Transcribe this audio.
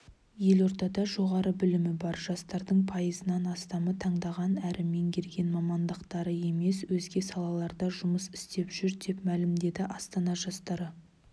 елордада жоғары білімі бар жастардың пайызынан астамы таңдаған әрі меңгерген мамандықтары емес өзге салаларда жұмыс істеп жүр деп мәлімдеді астана жастары